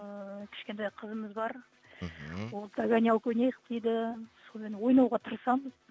ыыы кішкентай қызымыз бар мхм ол догонялка ойнайық дейді сонымен ойнауға тырысамын